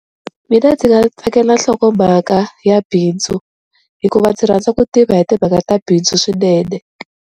Mina ndzi nga tsakela nhlokomhaka ya bindzu hikuva ndzi rhandza ku tiva hi timhaka ta bindzu swinene.